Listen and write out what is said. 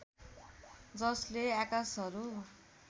जसले आकाशहरू